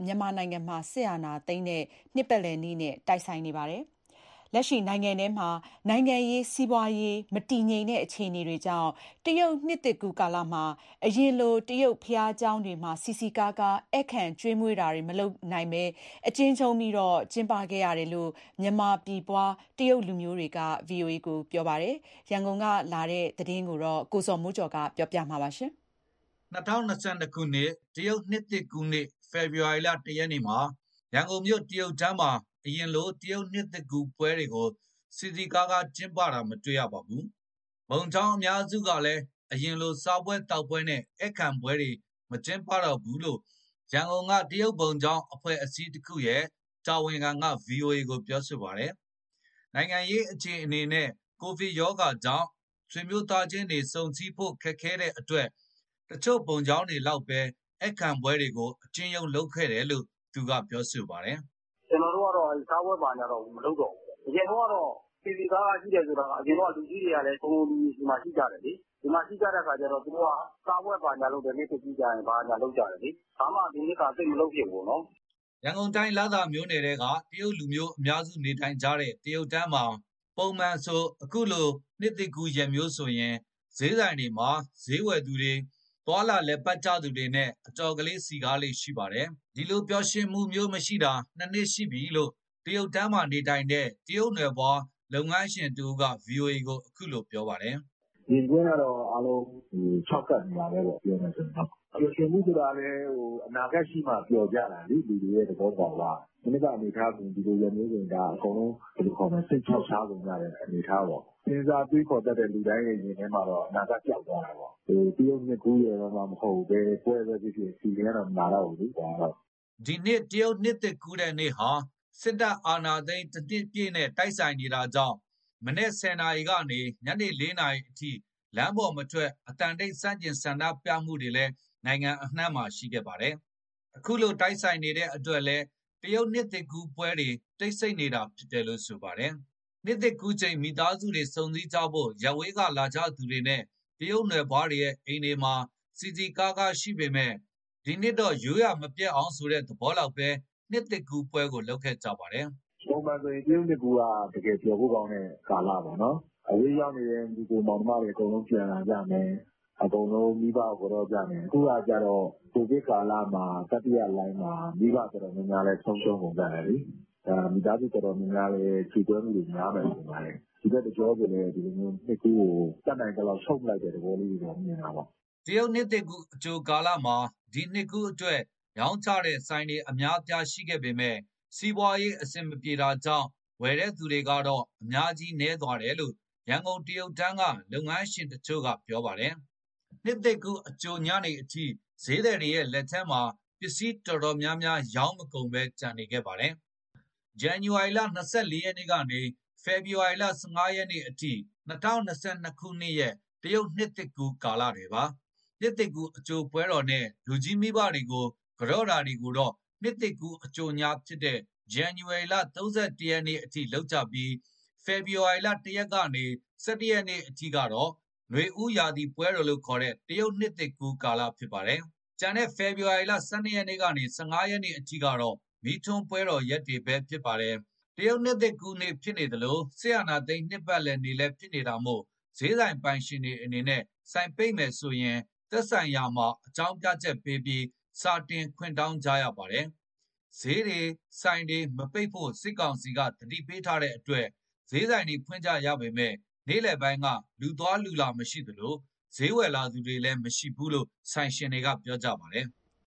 မြန်မာနိုင်ငံမှာ စစ်တပ်အာဏာသိမ်း ၁ နှစ်ပြည့်တဲ့နေ့နဲ့ တိုက်ဆိုင်နေပါတယ်။ လက်ရှိနိုင်ငံထဲမှာ နိုင်ငံရေး၊ စီးပွားရေး မတည်ငြိမ်တဲ့အခြေအနေတွေကြောင့် တရုတ်နှစ်သစ်ကူးကာလမှာ အရင်လို တရုတ်ဘုရားကျောင်းတွေမှာ စည်စည်ကားကား ဧည့်ခံကျွေးမွေးတာတွေ မလုပ်ခဲ့ဘဲ အကျဉ်းချုံးပြီး ကျင်းပခဲ့တယ်လို့ မြန်မာပြည်ဖွား တရုတ်လူမျိုးတွေက ပြောပါတယ်။ ရန်ကုန်က ပေးပို့တဲ့ ဒီသတင်းကို ကိုဇော်မိုးကျော် ကပြောပြမှာပါ။ အခု ၂၀၂၂ ခုနှစ် တရုတ်နှစ်သစ်ကူးတဲ့နေ့ ဖေဖော်ဝါရီလ ၁ ရက်နေ့မှာ ရန်ကုန်မြို့ တရုတ်တန်းမှာ အရင်လို တရုတ်နှစ်သစ်ကူးပွဲတွေကို စည်စည်းကားကား ကျင်းပတာ မတွေ့ရပါဘူး။ ဘုံကျောင်းအများစုကလည်း အရင်လို စားပွဲသောက်ပွဲနဲ့ ဧည့်ခံပွဲတွေကို မကျင်းပတော့ဘူးလို့ ရန်ကုန်က တရုတ်ဘုံကျောင်း အဖွဲ့အစည်းတခုရဲ့ တာဝန်ခံက ဗွီအိုအေကို ပြောပါတယ်။ နိုင်ငံရေးအခြေအနေနဲ့ ကိုဗစ်ကပ်ရောဂါကြောင့် ဆွေမျိုးသားချင်းတွေ ဆုံစည်းဖို့ ခက်ခဲတဲ့အတွက် တချို့ဘုံကျောင်းတွေလောက်ပဲ ဧည့်ခံပွဲတွေကို အကျဉ်းချုံးလုပ်ခဲ့တယ်လို့ သူကပြောပါတယ်။ “ကျနော်တို့ကတော့ စားပွဲဘာညာကတော့ မလုပ်တော့ဘူး။ အရင်တုန်းကတော့ စည်စည်ကားကားရှိတယ်ဆိုတာက အရင်တုန်းက လူကြီးတွေကလည်း စုံစုံညီညီဒီမှာရှိကြတယ်။ ဒီမှာရှိကြတဲ့အခါကျတော့ သူတို့က စားပွဲဘာညာလုပ်ကြတယ်။ နှစ်သစ်ကူးကျရင်။ ဘာမှဒီနှစ်က သိပ်မလုပ်ဖြစ်ဘူးပေါ့နော်။” ရန်ကုန်တိုင်း လသာမြို့နယ်ထဲက တရုတ်လူမျိုးအများစုနေကြတဲ့ တရုတ်တန်းမှာ ပုံမှန်ဆို ခုလိုရက်မျိုးဆိုရင် ဈေးဆိုင်တွေမှာ ဈေးဝယ်သူတွေ၊ သွားလာလည်ပတ်ကြသူတွေနဲ့ အတော်လေး စည်ကားလေ့ရှိတာပါ။ အဲဒီလို မပျော်ရွှင်ရတာ ၂ နှစ်ရှိပြီလို့ တရုတ်တန်းမှာ နေထိုင်တဲ့ တရုတ်နွယ်ဖွားလုပ်ငန်းရှင်တဦးကဗွီအိုအေကို ခုလိုပြောပါတယ်။ “မြင်ကွင်းကတော့ အားလုံးခြောက်ကပ်နေတာပဲပေါ့။ ပျော်ရွင်မှုဆိုတာကလည်း အနာဂတ်ရှိမှ ပျော်ကြတာလေ။ လူတွေရဲ့ သဘောသဘာဝက။ မနှစ်က အနေအထားဆိုရင် ဒီလိုရက်မျိုးဆိုရင် ဒါအကုန်လုံး စိတ်ခြောက်ခြားကုန်ကြတဲ့ အနေအထားပေါ့။ စဉ်းစားတွေးခေါ်တတ်တဲ့ လူတွေရဲ့ရင်ထဲမှာတော့ အနာဂတ် ပျောက်သွားတာပေါ့။ တရုတ်နှစ်ကူးရယ်မှမဟုတ်ဘူး။ ဘယ်ပွဲပဲဖြစ်ဖြစ် ဖီလင်ကတော့ မလာတော့ဘူးလေ။” ဒီနှစ်တရုတ်နှစ်သစ်ကူးတဲ့နေ့ဟာ စစ်အာဏာသိမ်း ၁ နှစ်ပြည့်ဖြစ်တာကြောင့် မနက် ၁၀ နာရီကနေ ညနေ ၄ နာရီအထိ လမ်းပေါ်မထွက် အသံတိတ် ဆန့်ကျင်ဆန္ဒပြမှုတွေလည်း နိုင်ငံအနံှ့မှာ ရှိခဲ့ပါတယ်။ အဲဒီလို နေ့နဲ့ တိုက်ဆိုင်နေတဲ့ အတွက်လည်း တရုတ်နှစ်သစ်ကူးပွဲတွေ တိတ်ဆိတ်နေတာဖြစ်ပါတယ်။ နှစ်သစ်ကူးချိန်မိသားစုတွေ ဆုံစည်းကြဖို့ ရပ်ဝေးကလာကြသူတွေနဲ့ တရုတ်နွယ်ဖွားတွေရဲ့ အိမ်တွေမှာ စည်စည်ကားကားရှိပေမဲ့ ဒီနှစ်တော့ ရိုးရာမပျက်အောင်ဆိုတဲ့ သဘောလောက်ပဲ နှစ်သစ်ကူးပွဲကို လုပ်ကြပါတယ်။ “ ပုံမှန်ဆိုရင် တရုတ်နှစ်ကူးက တကယ်ပျော်ဖို့ကောင်းတဲ့ ကာလပေါ့နော်။ အဝေးရောက်နေတဲ့ ညီအစ်ကို မောင်နှမတွေ အကုန်ပြန်လာကြမယ်။ မိဘကို ကန်တော့ကြမယ်၊ အခုကျတော့ ကိုဗစ်ကာလမှာ မိဘတော်တော်များများလည်း ဆုံးရှုံးကုန်ကြတယ်လေ၊ မိသားစု တော်တော်များများလည်း ကြေကွဲမှုတွေ များမယ်လို့ ထင်ပါတယ်။ ဒီဘက်တကြောဆိုလည်း နှစ်ကူးကို တတ်နိုင်သလောက် ချုံ့လိုက်တဲ့သဘောလေးတွေ မြင်ရတာပါ။” တရုတ်နှစ်ကူး အကြိုကာလမှာလည်း ဒီနှစ်ကူးအတွက် ရောင်းချတဲ့ဆိုင်တွေ အများအပြားရှိပေမဲ့ စီးပွားရေး အဆင်မပြေကြတာကြောင့် ဝယ်တဲ့သူကတော့ အများကြီးနည်းသွားတယ်လို့ ရန်ကုန်တရုတ်တန်းက လုပ်ငန်းရှင်တချို့က ပြောပါတယ်။ မနေ့က နှစ်ကူးအကြိုညနေအထိ ဈေးသည်တွေရဲ့ လက်ထဲမှာ ပစ္စည်းအတော်များများ ရောင်းမကုန်ဘဲ ကျန်နေခဲ့တာပါ။ ဇန်နဝါရီလ ၂၄ ရက်ကနေ ဖေဖော်ဝါရီလ ၁၅ ရက်အထိက ၂၀၂၂ ခုနှစ်ရဲ့တရုတ်နှစ်သစ်ကူးကာလတွေပါ။ နှစ်သစ်ကူးအကြိုပွဲတော်နဲ့ လူကြီးမိဘတွေကို ကန်တော့တာတွေကို နှစ်သစ်ကူးအကြိုညဖြစ်တဲ့ ဇန်နဝါရီ ၃၁ ရက်အထိလုပ်ကြပြီး ဖေဖော်ဝါရီ ၁ ရက်ကနေ ၁၁ ရက် အထိကတော့ နွေဦးရာသီပွဲတော်လို့ ခေါ်တဲ့ တရုတ်နှစ်သစ်ကူးကာလဖြစ်ပါတယ်။ ကျန်တဲ့ ဖေဖော်ဝါရီ ၁၂ ရက်ကနေ ၁၅ ရက် အထိကတော့ မီးထွန်းပွဲတော်ရက်တွေပဲ ဖြစ်ပါတယ်။ တရုတ်နှစ်သစ်ကူးနေ့ဖြစ်သလို စစ်အာဏာသိမ်းနှစ်ပါတ်လည်နေ့လည်းဖြစ်နေတာမို့ ဈေးဆိုင်ပိုင်ရှင်တွေအနေနဲ့ ဆိုင်ပိတ်မယ်ဆိုရင် သက်ဆိုင်ရာမှာ အကြောင်းပြချက်ပေးပြီး စာတင်ခွင့်တောင်းကြရပါတယ်။ ဈေးတွေ၊ ဆိုင်တွေ မပိတ်ဖို့ စစ်ကောင်စီက သတိပေးထားတဲ့အတွက် ဈေးဆိုင်တွေဖွင့်ကြရပေမဲ့ နေ့လည်ပိုင်းက လူသွား လူလာ မရှိသလို ဈေးဝယ်လာသူတွေလည်း မရှိဘူးလို့ ဆိုင်ရှင်တွေက ပြောကြပါတယ်။